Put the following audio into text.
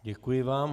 Děkuji vám.